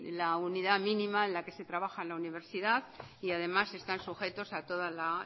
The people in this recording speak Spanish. la unidad mínima en la que se trabaja en la universidad y además están sujetos a toda la